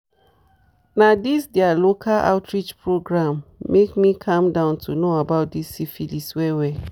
na this their local outreach program make me calm down to know about this syphilis well well